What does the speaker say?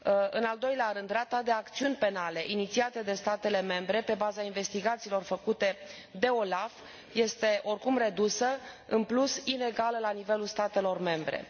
În al doilea rând, rata de acțiuni penale inițiate de statele membre pe baza investigațiilor făcute de OLAF este oricum redusă și, în plus, inegală la nivelul statelor membre.